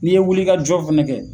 N'i ye wuli ka jɔ fɛnɛ kɛ.